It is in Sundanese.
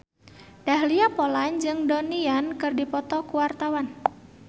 Dahlia Poland jeung Donnie Yan keur dipoto ku wartawan